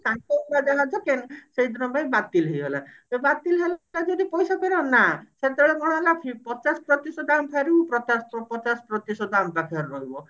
ତାଙ୍କ ସେଇଦିନ ପାଇଁ ବାତିଲ ହେଇଗଲା ଯଦି ବାତିଲ ହେଇଗଲା ପଇସା ଫେରାଅ ନା ସେତେବେଳେ କଣ ହେଲା ପଚାଶ ପ୍ରତିଶତ ଆମେ ଫେରିବୁ ପଚାଶ ପ୍ରତିଶତ ଆମ ପାଖରେ ରହିବ